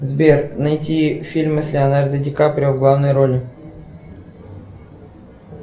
сбер найти фильмы с леонардо ди каприо в главной роли